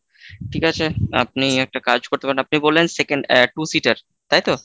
ঠিক আছে, আপনি একটা কাজ করতে পারেন আপনি বললেন second আহ two seat র তাইতো,